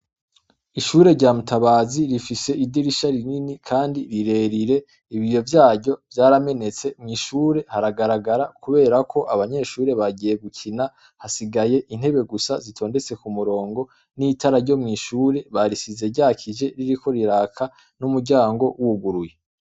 Ishure rya mutabazi rifise idirisha rinini kandi rire rire ibiyo vyaryo vyaramenetse mwi shure haragaragara kubera ko abanyeshure bagiye gukina hasigaye intebe gusa zitondetse ku murongo n' itara ryo mwi shure barisize ryakije ririko riraka n' umuryango wuguruye.